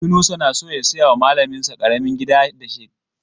Yunusa na so ya saya wa malamin sa ƙaramin gida shekara mai zuwa a Sokoto.